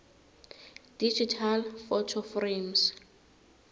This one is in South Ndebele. digital photo frames